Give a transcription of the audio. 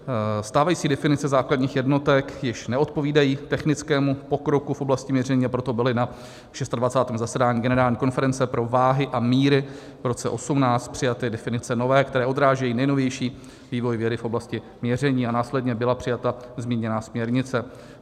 Stávající definice základních jednotek již neodpovídají technickému pokroku v oblasti měření, a proto byly na 26. zasedání Generální konference pro váhy a míry v roce 2018 přijaty definice nové, které odrážejí nejnovější vývoj vědy v oblasti měření, a následně byla přijata zmíněná směrnice.